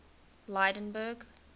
lydenburg